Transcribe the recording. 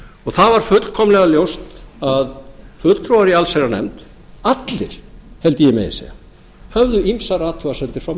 það var fullkomlega ljóst að fulltrúar í allsherjarnefnd allir held ég megi segja höfðu ýmsar athugasemdir fram